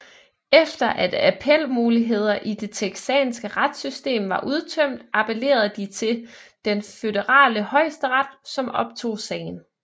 Efter at appelmuligheder i det texanske retssystem var udtømt appellerede de til den Føderale Højesteret som optog sagen